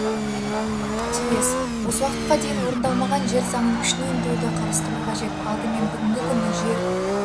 тиіс осы уақытқа дейін орындалмаған жер заңын күшіне ендіруді қарастыру қажет алдымен бүгінгі күні жер